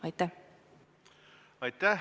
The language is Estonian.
Aitäh!